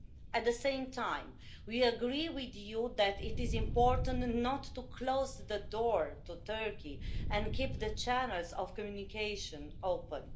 At the same time, we agree with you that it is important not to close the door to Turkey, but to keep the channels of communication open